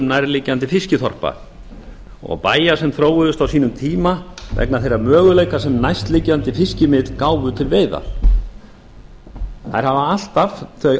nærliggjandi fiskiþorpa og bæja sem þróuðust á sínum tíma vegna þeirra möguleika sem næstliggjandi fiskimið gáfu til veiða þær hafa alltaf þau